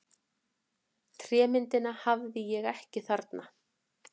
Trémyndina hafði ég ekki þarna.